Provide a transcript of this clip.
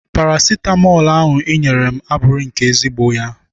Parasitamọl ahụ I nyere m abụghị nke ezigbo ya.